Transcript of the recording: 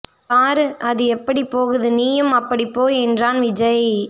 பாரு அது எப்படி போகுது நீயும் அப்படி போ என்றான் விஜய்